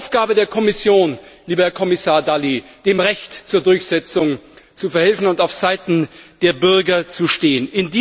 Es ist die Aufgabe der Kommission, lieber Herr Kommissar Dalli, dem Recht zur Durchsetzung zu verhelfen und aufseiten der Bürger zu stehen.